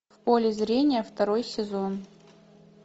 в поле зрения второй сезон